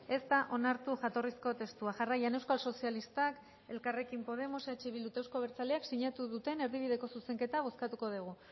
ez da onartu jatorrizko testua jarraian euskal sozialistak elkarrekin podemos eh bildu eta euzko abertzaleak sinatu duten erdibideko zuzenketa bozkatuko dugu